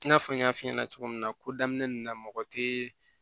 I n'a fɔ n y'a f'i ɲɛna cogo min na ko daminɛ na mɔgɔ te